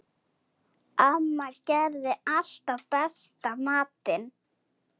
Amma gerði alltaf besta matinn.